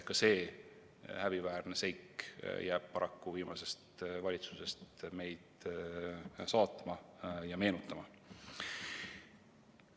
Ka see häbiväärne seik jääb viimase valitsuse ajast meid paraku saatma ja meenutama.